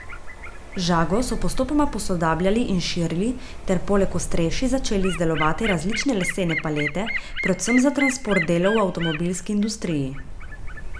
Žago so postopoma posodabljali in širili ter poleg ostrešij začeli izdelovati različne lesene palete, predvsem za transport delov v avtomobilski industriji.